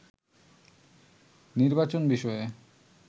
নির্বাচন বিষয়ে